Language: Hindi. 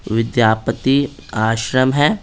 विद्यापति आश्रम है--